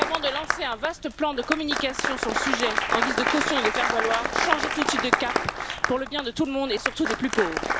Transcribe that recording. Donc, avant de lancer un vaste plan de communication sur le sujet en guise de caution et de faire valoir, changez tout de suite de cap pour le bien de tout le monde et surtout des plus pauvres.